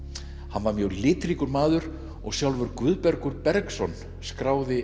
hann var mjög litríkur maður og sjálfur Guðbergur Bergsson skráði